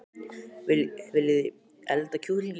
Viljiði elda kjúkling í kvöld?